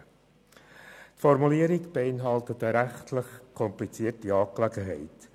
Die Formulierung beinhaltet eine rechtlich komplizierte Angelegenheit.